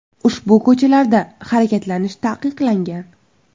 Ushbu ko‘chalarda harakatlanish taqiqlangan.